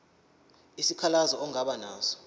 isikhalazo ongaba naso